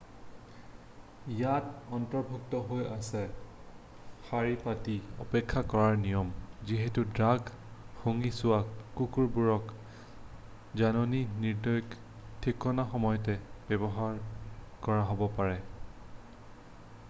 ইয়াত অন্তৰ্ভুক্ত হৈ আছে শাৰী পাতি অপেক্ষা কৰাৰ নিয়ম যিহেতু ড্ৰাগ শুঙি চোৱা কুকুৰবোৰক জাননী নিদিয়াকৈ যিকোনো সময়তে ব্যৱহাৰ কৰা হ'ব পাৰে